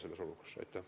Signe Riisalo, palun!